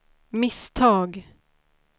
misstag